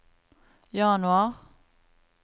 januar